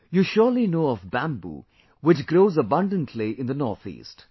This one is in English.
You surely know of Bamboo which grows abundantly in the North East